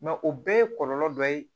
o bɛɛ ye kɔlɔlɔ dɔ ye